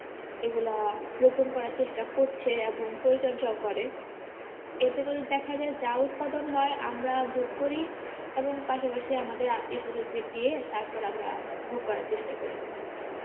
এগুলা রোপন করার চেষ্টা করছে এবং পরিচর্যাও করে এতে করে দেখা যায় যা উৎপাদন হয় আমরা ভোগ করি এবং পাশাপাশি আমাদের আত্মীয়-স্বজনদের দিয়ে তারপর আমরা ভোগ করার চেষ্টা করি.